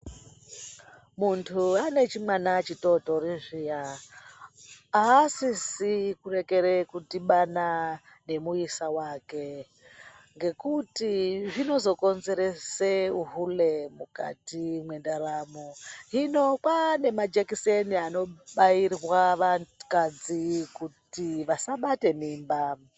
Muntu ane chimwana chitotori zviya, asisi kurekere kudhibana nemuyisa wake, ngekuti zvinozokonzerese uhule mukati mwendaramo, hino kwane majekiseni anobayirwa vakadzi kuti vasabate mimba.